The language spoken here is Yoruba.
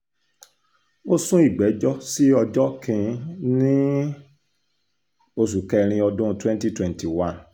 ó sún ìgbẹ́jọ́ sí ọjọ́ kìn-ín-ní oṣù kẹrin ọdún twenty twenty one